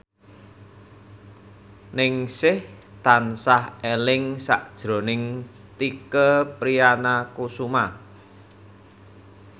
Ningsih tansah eling sakjroning Tike Priatnakusuma